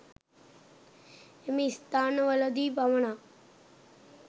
එම ස්ථාන වලදී පමණක්